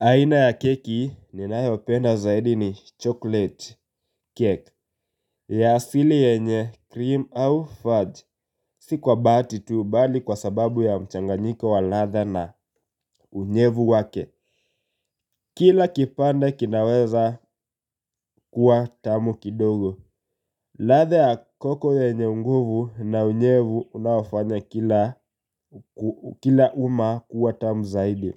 Aina ya keki ninayopenda zaidi ni chocolate cake ya asili yenye cream au fudge si kwa bahati tu bali kwa sababu ya mchanganyiko wa ladha na unyevu wake. Kila kipande kinaweza kuwa tamu kidogo. Ladha ya koko yenye unguvu na unyevu unaofanya kila uma kuwa tamu zaidi.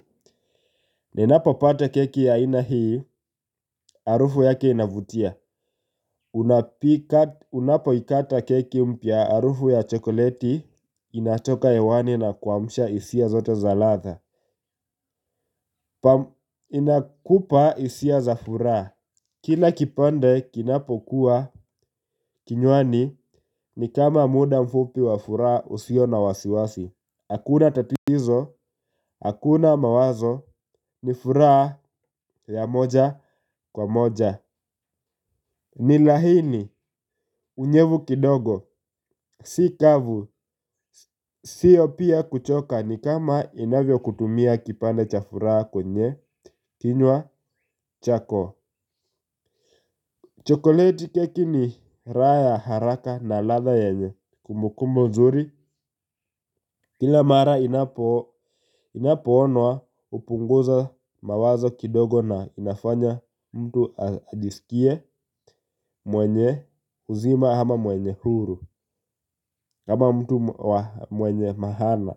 Ninapopata keki ya aina hii harufu yake inavutia. Unapo ikata keki mpya harufu ya chokoleti inatoka hewani na kuamsha hisia zote za ladha. Inakupa hisia za furaha. Kila kipande kinapo kuwa kinywani ni kama muda mfupi wa furaha usio na wasiwasi. Hakuna tatizo, hakuna mawazo ni furaha ya moja kwa moja. Ni laini, unyevu kidogo, si kavu, siyo pia kuchoka ni kama inavyo kutumia kipande cha furaha kwenye, kinywa, chako. Chokoleti keki ni raha ya haraka na ladha yenye kumbukumbu nzuri. Kila mara inapo onwa hupunguza mawazo kidogo na inafanya mtu ajiskie mwenye uzima ama mwenye huru kama mtu mwenye mahala.